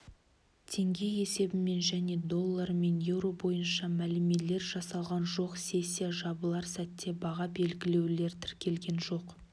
теңге есебімен және долларымен еуро бойынша мәмілелер жасалған жоқ сессия жабылар сәтте баға белгілеулер тіркелген жоқ